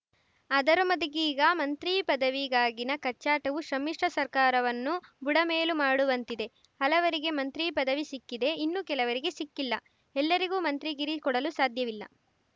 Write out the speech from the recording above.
ಅದ ರೊಮದಿ ಗೀಗ ಮಂತ್ರಿ ಪದವಿಗಾಗಿನ ಕಚ್ಚಾಟವು ಸಮ್ಮಿಶ್ರ ಸರ್ಕಾರವನ್ನು ಬುಡಮೇಲು ಮಾಡುವಂತಿದೆ ಹಲವರಿಗೆ ಮಂತ್ರಿ ಪದವಿ ಸಿಕ್ಕಿದೆ ಇನ್ನು ಕೆಲವರಿಗೆ ಸಿಕ್ಕಿಲ್ಲ ಎಲ್ಲರಿಗೂ ಮಂತ್ರಿಗಿರಿ ಕೊಡಲು ಸಾಧ್ಯವಿಲ್ಲ